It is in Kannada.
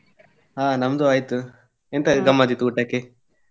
ಹ ನಮ್ದು ಆಯ್ತು ಎಂತ ಗಮ್ಮತ್ ಇತ್ತು ಊಟಕ್ಕೆ?